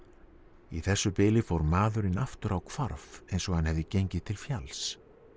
í þessu bili fór maðurinn aftur á hvarf eins og hann hefði gengið til fjalls